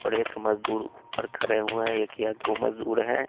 और एक मजदूर ऊपर खड़े हुए हैं एक या दो मजदूर हैं।